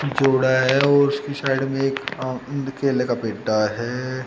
झुड़ा है और उसकी साइड में एक आम केले का पेड्डा है।